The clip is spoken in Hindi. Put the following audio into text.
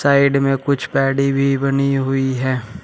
साइड में कुछ पेडी हुई बनी हुई है।